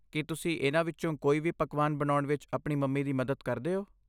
ਕੀ ਤੁਸੀਂ ਇਹਨਾਂ ਵਿੱਚੋਂ ਕੋਈ ਵੀ ਪਕਵਾਨ ਬਣਾਉਣ ਵਿੱਚ ਆਪਣੀ ਮੰਮੀ ਦੀ ਮਦਦ ਕਰਦੇ ਹੋ?